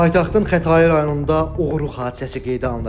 Paytaxtın Xətai rayonunda oğurluq hadisəsi qeydə alınıb.